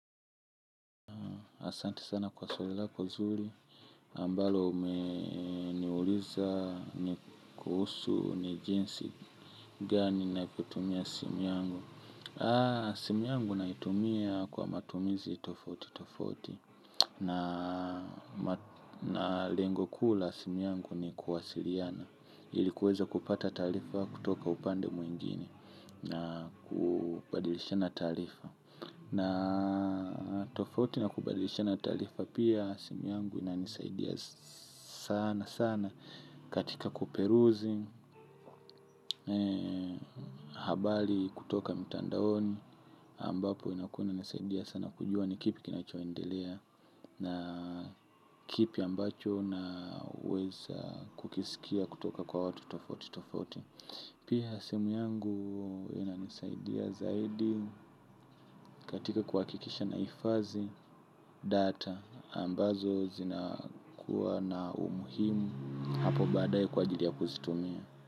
Asante sana kwa swali lako nzuri ambalo umeniuliza ni kuhusu ni jinsi gani na kutumia simu yangu. Simu yangu naitumia kwa matumizi tofauti tofauti na lengo kuu la simu yangu ni kuwasili ana. Ili kuweza kupata taarifa kutoka upande mwingine na kubadilishana taarifa. Na tofauti na kubadilishana taarifa pia simu yangu inanisaidia sana sana katika kuperuzi, habari kutoka mitandaoni ambapo inakuwa inanisaidia sana kujua ni kipi kinachoendelea na kipi ambacho naweza kukisikia kutoka kwa watu tofauti tofauti. Pia sehemu yangu inanisaidia zaidi katika kuhakikisha na hifadhi data ambazo zinakuwa na umuhimu hapo baadaye kwa ajili ya kuzitumia.